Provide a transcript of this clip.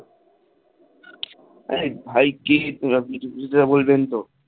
আরে ভাই কে স্নেহাশিস বলবেন তো.